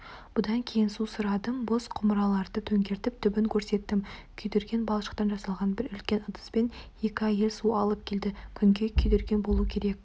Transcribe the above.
бұдан кейін су сұрадым бос құмыраларды төңкеріп түбін көрсеттім күйдірген балшықтан жасаған бір үлкен ыдыспен екі әйел су алып келді күнге күйдірген болу керек